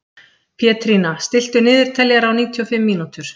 Pétrína, stilltu niðurteljara á níutíu og fimm mínútur.